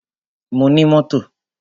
Mo ní mọ́tò.